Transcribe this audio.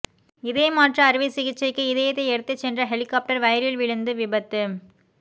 இதயமாற்று அறுவை சிகிச்சைக்கு இதயத்தை எடுத்துச்சென்ற ஹெலிகாப்டர் வயலில் விழுந்து விபத்து